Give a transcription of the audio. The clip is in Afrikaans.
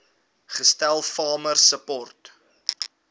gestel farmer support